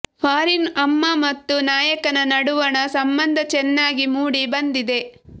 foreign ಅಮ್ಮ ಮತ್ತು ನಾಯಕನ ನಡುವಣ ಸಂಬಂದ ಚೆನ್ನಾಗಿ ಮೂಡಿ ಬಂದಿದೆ